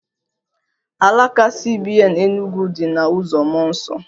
Alaka CBN Enugwu dị na uzo Mmụọ Nsọ